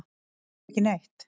Skilurðu ekki neitt?